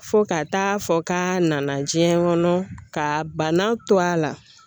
Fo ka taa fɔ k'a nana diɲɛ kɔnɔ ka bana to a la